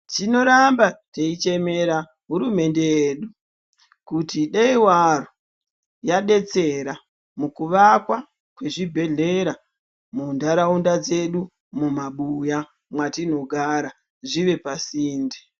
Tinoramba teichemera hurumende yedu kuti dei waro yadetsera mukuvakwa kwezvibhehlera muntaraunda dzedu, mumabuya mwetinogara, zvive pasinde.